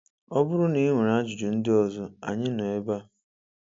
Ọ bụrụ na ị nwere ajụjụ ndị ọzọ, Anyị nọ ebe a!